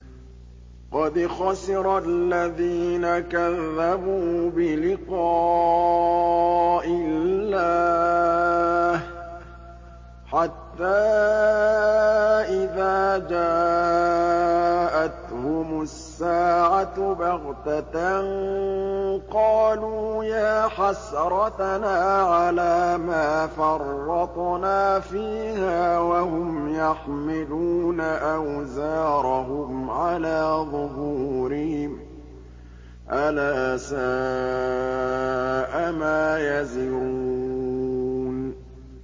قَدْ خَسِرَ الَّذِينَ كَذَّبُوا بِلِقَاءِ اللَّهِ ۖ حَتَّىٰ إِذَا جَاءَتْهُمُ السَّاعَةُ بَغْتَةً قَالُوا يَا حَسْرَتَنَا عَلَىٰ مَا فَرَّطْنَا فِيهَا وَهُمْ يَحْمِلُونَ أَوْزَارَهُمْ عَلَىٰ ظُهُورِهِمْ ۚ أَلَا سَاءَ مَا يَزِرُونَ